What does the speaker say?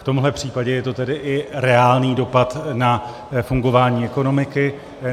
V tomhle případě je to tedy i reálný dopad na fungování ekonomiky.